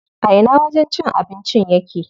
A ina wajen cin abincin yake?